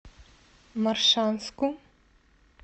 моршанску